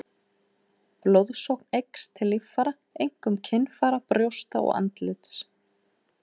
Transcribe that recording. Blóðsókn eykst til líffæra, einkum kynfæra, brjósta og andlits.